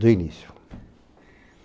De início.